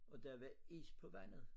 Og der var is på vandet